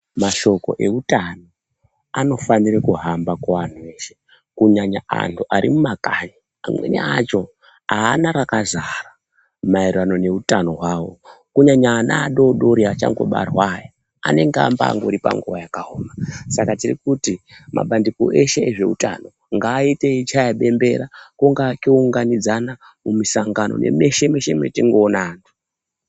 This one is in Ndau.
Mashoko eutano anofanire kuhamba kuanhu eshe kunyanya anhu arimumakanyi amweni acho aana rakazara maererano neutano hwawo kunyanya ana adodori achangobarwa aya anenge ambangori panguwa yakaoma , Saka tirikuti mapandiko eshe ezveutano ngaaiye eichaya bembera kungaa kuunganidzana mumisangano nemeshe meshe mwatingaoona antu.